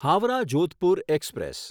Howrah Jodhpur express